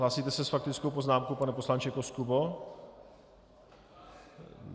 Hlásíte se s faktickou poznámkou, pane poslanče Koskubo?